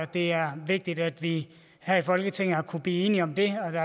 det er vigtigt at vi her i folketinget har kunnet blive enige om det